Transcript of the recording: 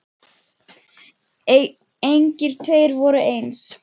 Engir tveir voru eins.